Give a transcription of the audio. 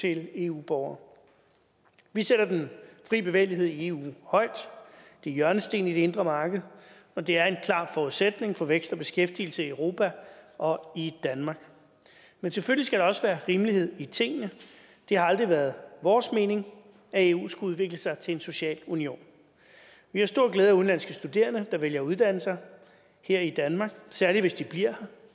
til eu borgere vi sætter den fri bevægelighed i eu højt det er hjørnestenen i det indre marked og det er en klar forudsætning for vækst og beskæftigelse i europa og i danmark men selvfølgelig skal der også være rimelighed i tingene det har aldrig været vores mening at eu skulle udvikle sig til en social union vi har stor glæde af udenlandske studerende der vælger at uddanne sig her i danmark særlig hvis de bliver